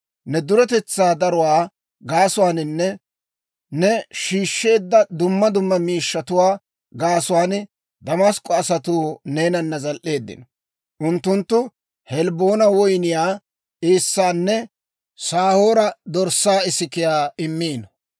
Ne duretetsaa daruwaa gaasuwaaninne ne shiishsheedda dumma dumma miishshatuwaa gaasuwaan Damask'k'o asatuu neenana zal"eeddino; unttunttu Helbboona woyniyaa eessaanne Saahoora dorssaa isikiyaa immiino.